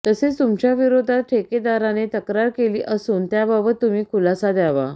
तसेच तुमच्याविरोधात ठेकेदाराने तक्रार केली असून त्याबाबत तुम्ही खुलासा द्यावा